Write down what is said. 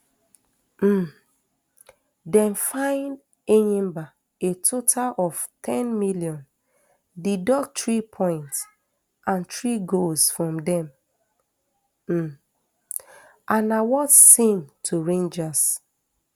um dem fine enyimba a total of n ten million deduct three points and three goals from dem um and award same to rangers